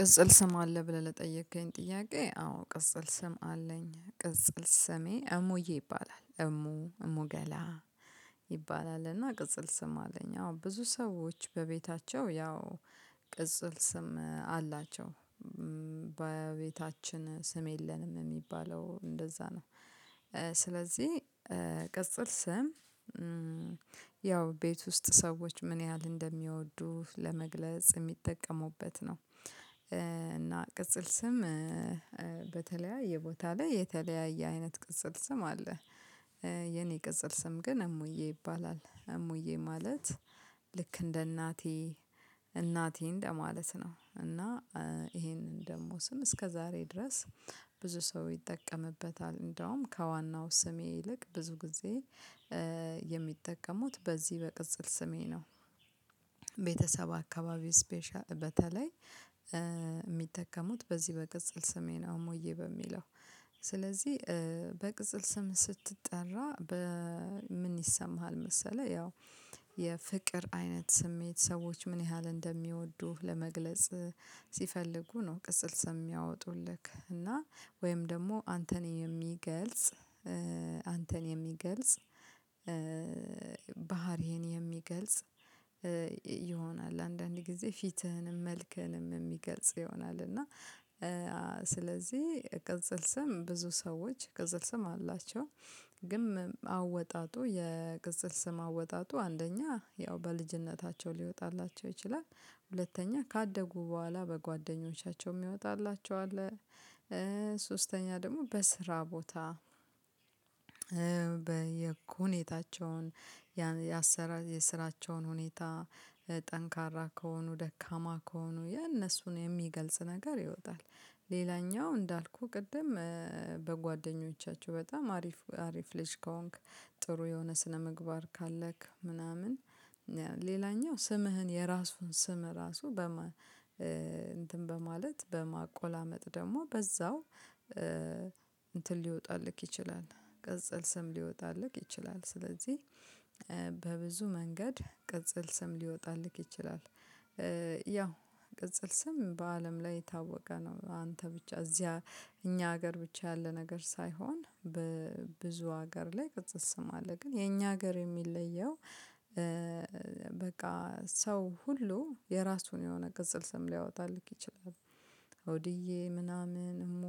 ቅጽል ስም አለ ብለህ ለጠየከኝ ጥያቄ አዎ ቅጽል ስም አለኝ ቅጽል ስሜ እሙዬ ይባላል እሙ እሙ ገላ። ይባላል እና ቅጽል ስም አለኝ አዎ ብዙ ሰዎች በቤታቸው ያው ቅጽል ስም አላቸው። በቤታችን ስም የለንም የሚባለው እንደዛ ነው። ስለዚህ ቅጽል ስም ያው ቤት ውስጥ ሰዎች ምን ያህል እንደሚወዱህ ለመግለጽ የሚጠቀሙበት ነው። እና ቅጽል ስም በተለያየ ቦታ ላይ የተለያየ አይነት ቅጽል ስም አለ። የኔ ቅጽል ስም ግን እሙዬ ይባላል። እሙዬ ማለት ልክ እንደ እናቴ እናቴ እንደ ማለት ነው። እና ይሄንን ደግሞ ስም እስከ ዛሬ ድረስ ብዙ ሰው ይጠቀምበታል እንደውም ከዋናው ስሜ ይልቅ ብዙ ጊዜ የሚጠቀሙት በዚህ በቅጽል ስሜ ነው። ቤተሰብ አካባቢ ስፔሻሊ በተለይ የሚጠቀሙት በዚህ በቅጽል ስሜ አሞዬ በሚለው ስለዚህ በቅጽል ስም ስትጠራ? ምን ይሰማሃል መሰለህ ያው የፍቅር አይነት ስሜት ሰዎች ምን ያህል እንደሚወዱህ ለመግለጽ ሲፈልጉ ነው። ቅጽል ስም ሚያወጡልህ እና ወይም ደግሞ አንተን የሚገልጽ አንተን የሚገልጽ የሚገልጽ ይሆናል። አንዳንድ ጊዜ ፊትህንም መልክህንም የሚገልጽ ይሆናል እና ስለዚህ ቅጽል ስም ብዙ ሰዎች ቅጽል ስም አላቸው። ግን አወጣጡ የቅጽል ስም አወጣጡ አንደኛ ያው በልጅነታቸው ሊወጣላቸው ይችላል። ሁለተኛ ካደጉ በኋላ በጓደኞቻቸው የሚወጣላቸው አለ ደግሞ በስራ ቦታ በሁኔታቸውን ያሰራ የስራቸውን ሁኔታ ጠንካራ ከሆኑ ደካማ ከሆኑ የእነሱን የሚገልጽ ነገር ይወጣል። ሌላኛው እንዳልኩህ ቅድም በጓደኞቻቸው በጣም አሪፍ አሪፍ ልጅ ከሆንክ ጥሩ የሆነ ስነምግባር ካለክ ምናምን ሌላኛው ስምህን የራሱን ስም ራሱ በማ እንትን በማለት በማቆላመጥ ደግሞ በዛው እንትን ሊወጣልህ ይችላል። ቀጽል ስም ሊወጣልህ ይችላል ስለዚህ መንገድ ቅጽል ስም ሊወጣልህ ይችላል። ያው ቅጽል ስም በአለም ላይ የታወቀ ነው አንተ ብቻ እዚያ እኛ ሀገር ብቻ ያለ ነገር ሳይሆን በብዙ ሀገር ላይ ቅጽል አለ። ግን የኛ ሀገር የሚለየው በቃ ሰው ሁሉ የራሱን የሆነ ቅጽል ስም ሊያወጣልህ ይችላል። አውድዬ ምናምን እሙ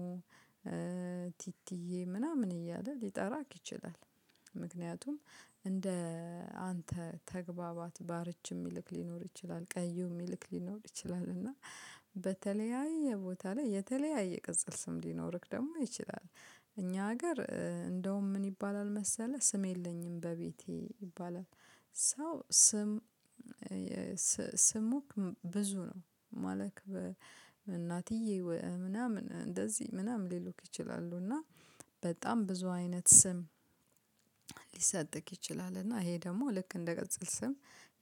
ቲቲዬ ምናምን እያለ ሊጠራቅ ይችላል። ምክንያቱም እንደ አንተ ተግባባት ባርች የሚልም ሊኖር ይችላል ቀዩ የሚልክ ሊኖር ይችላል እና ቦታ ላይ የተለያየ ቅጽል ስም ሊኖርክ ደግሞ ይችላል። እኛ ሀገር እንደውም ምን ይባላል መሰለህ ስም የለኝም በቤቴ ይባላል። ሰው ስም ስም ብዙ ነው። ማለት እናትዬ ምናምን እንደዚህ ምናምን ሊሉክ ይችላሉ። እና በጣም ብዙ አይነት ስም ሊሰጥክ ይችላል እና ይሄ ደግሞ ልክ እንደ ቅጽል ስም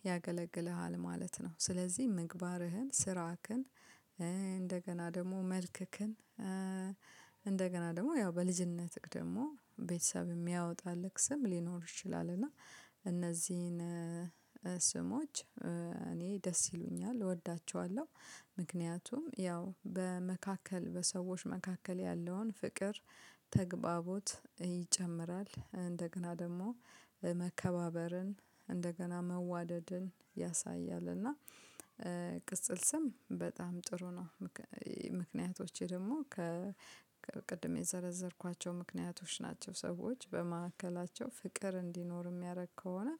ያገለግልሃል ማለት ነው። ስለዚህ ምግባርህን ስራህን ደግሞ መልክክን እንደገና ደግሞ ያው በልጅነትህ ደግሞ ቤተሰብ የሚያወጣልህ ስም ሊኖር ይችላል። እና እነዚህን ስሞች እኔ ደስ ይሉኛል እወዳቸዋለሁ። ምክንያቱም ያው በመካከል በሰዎች መካከል ያለውን ፍቅር ተግባቦት ይጨምራል እንደገና ደግሞ መከባበርን እንደገና መዋደድን ያሳያል። እና ቅጽል ስም በጣም ጥሩ ነው። ምክንያቶቼ ደግሞ ከ ቅድም የዘረዘርኳቸው ምክንያቶች ናቸው ሰዎች በመካከላቸው ፍቅር እንዲኖር የሚያደርግ ከሆነ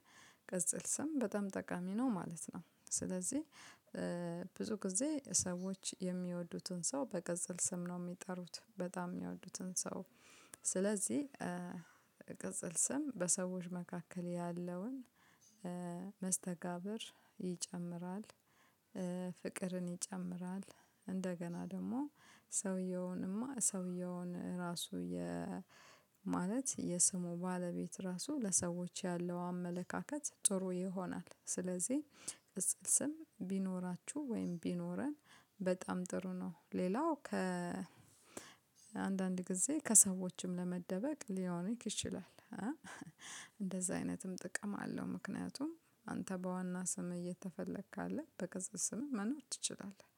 ቀጽል ስም በጣም ጠቃሚ ነው ማለት ነው። ስለዚህ ብዙ ጊዜ ሰዎች የሚወዱትን ሰው በቀጽል ስም ነው የሚጠሩት በጣም የሚያወዱትን ሰው። ስለዚህ ቅጽል ስም በሰዎች መካከል ያለውን መስተጋብር ይጨምራል። ፍቅርን ይጨምራል። እንደገና ደግሞ ሰውየውንማ ሰውየውን ራሱ የ ማለት የስሙ ባለቤት ራሱ ለሰዎች ያለው አመለካከት ጥሩ ይሆናል። ስለዚህ ቅጽል ስም ቢኖራችሁ ወይም ቢኖረን በጣም ጥሩ ነው። ሌላው ከአንዳንድ ጊዜ ከሰዎችም ለመደበቅ ሊሆን ይችላል። እንደዛ አይነትም ጥቅም አለው ምክንያቱም አንተ በዋና ስምህ እየተፈለክ ካለ በቅጽል ስምህ መኖር ትችላለህ